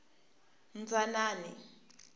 dzanani